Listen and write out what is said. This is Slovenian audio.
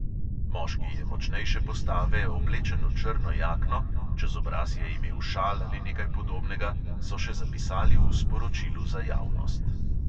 Moški je močnejše postave, oblečen v črno jakno, čez obraz je imel šal ali nekaj podobnega, so še zapisali v sporočilu za javnost.